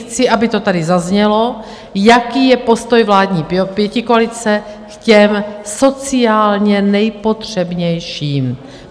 Chci, aby to tady zaznělo, jaký je postoj vládní pětikoalice k těm sociálně nejpotřebnějším.